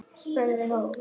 spurði hún